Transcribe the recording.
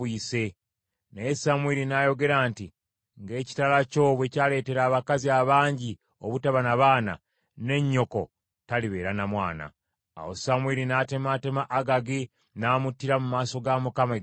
Naye Samwiri n’ayogera nti, “Ng’ekitala kyo bwe kyaleetera abakazi abangi obutaba na baana, ne nnyoko talibeera na mwana.” Awo Samwiri n’atemaatema Agagi n’amuttira mu maaso ga Mukama e Girugaali.